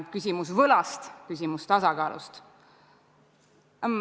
Küsimus võlast, küsimus tasakaalust.